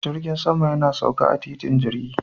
Jirgin sama yana sauka a titin jirgi